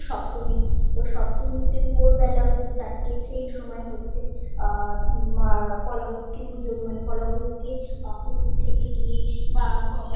সপ্তমী তো সপ্তমী তে ভোর বেলা সেই চারটের সময়ে হচ্ছে আ উম কলা বউ কে পুজো মানে কলাবৌ কে পুকুর থেকে গিয়ে বা